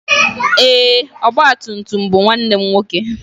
Ee, ọgba tum tum bụ nwanne m nwoke.